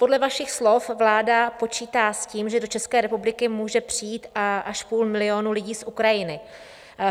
Podle vašich slov vláda počítá s tím, že do České republiky může přijít až půl milionu lidí z Ukrajiny.